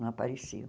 Não apareciam.